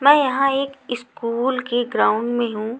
मैं यहाँ एक इस्कूल के ग्राउंड में हूँ।